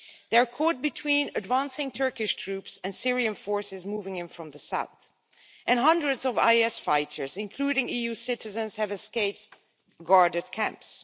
They are caught between advancing Turkish troops and Syrian forces moving in from the south, and hundreds of IS fighters, including EU citizens, have escaped guarded camps.